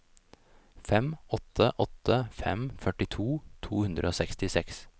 fem åtte åtte fem førtito to hundre og sekstiseks